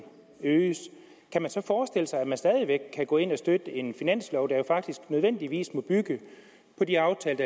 øges kan man så forestille sig at man stadig væk kan gå ind og støtte en finanslov der faktisk nødvendigvis må bygge på de aftaler